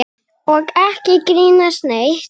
Og ekki grínast neitt!